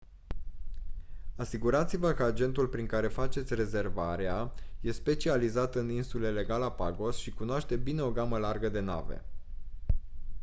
asigurați-vă că agentul prin care faceți rezervarea e specializat în insulele galapagos și cunoaște bine o gamă largă de nave